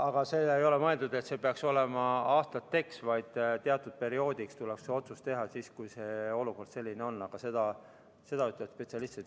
Aga see ei ole mõeldud nii, et see peaks olema aastateks, vaid teatud perioodiks tuleb see otsus teha, kui olukord selline on, aga seda ütlevad spetsialistid.